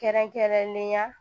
Kɛrɛnkɛrɛnnenya